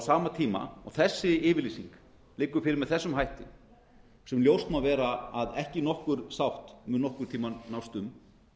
sama tíma og þessi yfirlýsing liggur fyrir með þessum hætti sem ljóst má vera að ekki nokkur sátt mun nokkurn tímann nást um